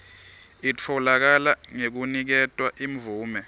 itfolakala ngekuniketwa imvume